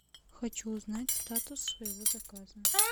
хочу узнать статус своего заказа